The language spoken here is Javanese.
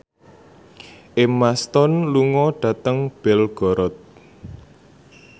Emma Stone lunga dhateng Belgorod